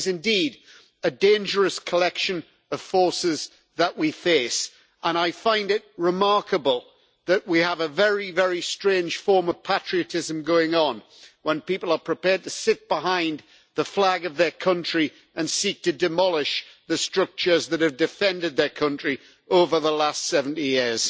It is indeed a dangerous collection of forces that we face, and I find it remarkable that we have a very, very strange form of patriotism going on when people are prepared to sit behind the flag of their country and seek to demolish the structures that have defended their country over the last 70 years.